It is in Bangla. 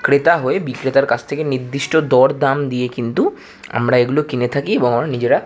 ক্রেতা হয়ে বিক্রেতা কাছ থাকে নির্দির্ষ্ট দরদাম হয়ে কিন্তু আমরা এগুলো কিনে থাকি এবং আমরা নিজেরা।